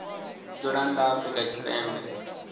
dzula nnḓa ha afrika tshipembe